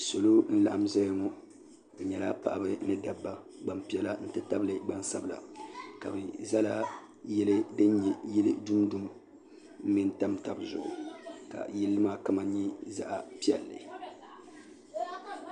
salo n laɣim zaya ŋɔ be nyɛla paɣ' ni da ba gbapiɛla n ti tabi gbasabila ka be zalayili yili din do mɛnitabitabi zuɣ ka yili maa kama nyɛ zaɣ piɛli